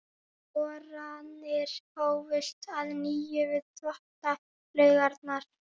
Boranir hófust að nýju við Þvottalaugarnar.